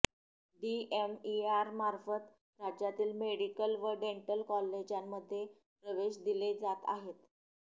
डीएमईआरमार्फत राज्यातील मेडिकल व डेंटल कॉलेजांमध्ये प्रवेश दिले जात आहेत